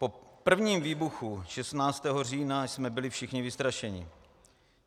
Po prvním výbuchu 16. října jsme byli všichni vystrašení.